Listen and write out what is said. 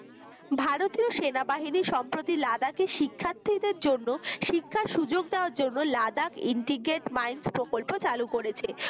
ভারতীয় সেনাবাহিনী সম্প্রতি লাদাখের শিক্ষার্থীদের জন্য শিক্ষার সুযোগ দেয়ার জন্য লাদাখ intiget minds প্রকল্প চালু করেছে।